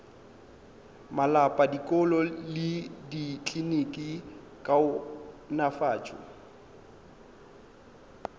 malapa dikolo le dikliniki kaonafatšo